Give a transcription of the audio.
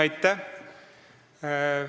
Aitäh!